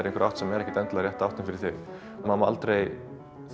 einhverja átt sem er ekkert endilega rétta áttin fyrir þig maður má aldrei